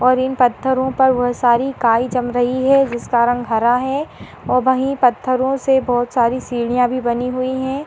और इन पत्थरों पर बोहोत सारी काई जम रही है जिसका रंग हरा है और वहीं पत्थरों से बोहोत सारी सीढ़ियां भी बनी हुई हैं।